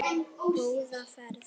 Góða ferð.